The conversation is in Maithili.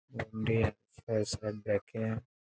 ओय में छै --